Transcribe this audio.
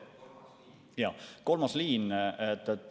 Jaa, kolmas liin.